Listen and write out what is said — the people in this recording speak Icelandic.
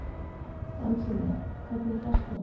Angelía, hvernig er dagskráin?